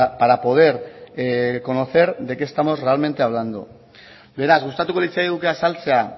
para poder conocer de qué estamos realmente hablando beraz gustatuko litzaiguke azaltzea